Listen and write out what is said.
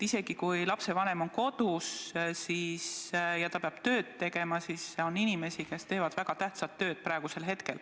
Isegi kui lapsevanem on kodus, peab ta oma tööd tegema, ja on inimesi, kes teevad praegu väga tähtsat tööd.